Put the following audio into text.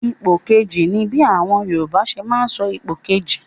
Ipò kejì' ni bí àwọn Yorùbá ṣe máa ń sọ ipò kejì.